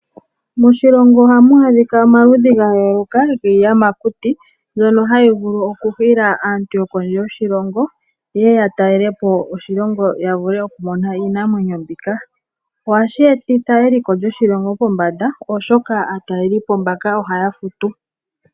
Moshilongo ohamu adhika omaludhi ga yooloka giiyamakuti mbyono hayi vulu okuhila aantu yokondje yoshilongo yeye ya talele po oshilongo, ya vule okumona iinamwenyo mbika. Ohashi etitha eliko lyoshilongo pombanda oshoka aatalelipo mbaka ohaya futu.